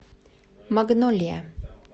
магнолия